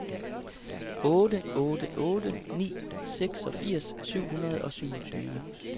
otte otte otte ni seksogfirs syv hundrede og syvogtyve